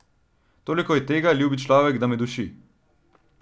Toliko je tega, ljubi človek, da me duši.